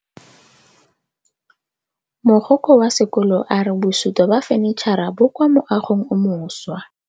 Mogokgo wa sekolo a re bosutô ba fanitšhara bo kwa moagong o mošwa.